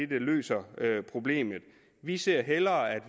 der løser problemet vi ser hellere at